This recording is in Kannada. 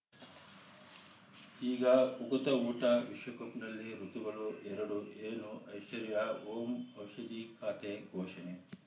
ಈಗ ಉಕುತ ಊಟ ವಿಶ್ವಕಪ್‌ನಲ್ಲಿ ಋತುಗಳು ಎರಡು ಏನು ಐಶ್ವರ್ಯಾ ಓಂ ಔಷಧಿ ಖಾತೆ ಘೋಷಣೆ